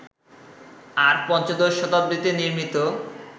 আর পঞ্চদশ শতাব্দীতে নির্মিত